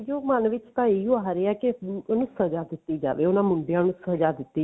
ਮਨ ਵਿੱਚ ਤਾਂ ਇਹੀ ਆ ਰਿਹਾ ਕਿ ਉਹਨੂੰ ਸਜ਼ਾ ਦਿੱਤੀ ਜਾਵੇ ਉਹਨਾ ਮੁੰਡਿਆਂ ਨੂੰ ਸਜ਼ਾ ਦਿੱਤੀ ਜਾਵੇ